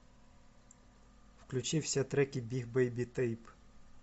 включи все треки биг бейби тейп